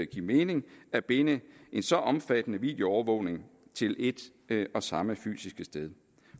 give mening at binde en så omfattende videoovervågning til et og samme fysiske sted